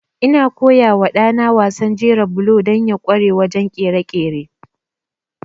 Ina koya wa ɗana wasan jera bulo don ya ƙware wajen ƙirƙire-ƙirƙire.